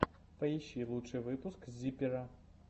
поищи лучший выпуск зиппера